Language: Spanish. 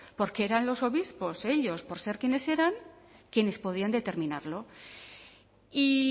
porque eran los obispos ellos por ser quienes eran quienes podían determinarlo y